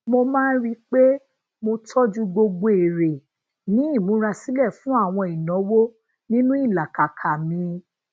mo máa ń rí i pé mo tójú gbogbo ere ni imúra sílè fún àwọn ìnáwó ninu ilakaka mi